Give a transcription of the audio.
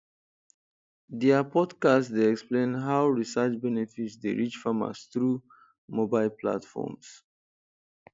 dia podcast dey explain how research benefits dey reach farmers through mobile platforms